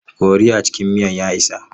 Kori a cikin miyan ya isa.